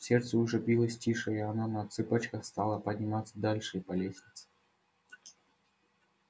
сердце уже билось тише и она на цыпочках стала подниматься дальше по лестнице